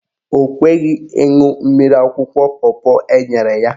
Ọ kweghị ịṅụ mmiri akwụkwọ pọpọ enyere ya.